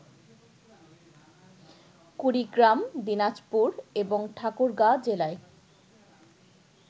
কুড়িগ্রাম, দিনাজপুর এবং ঠাকুরগাঁ জেলায়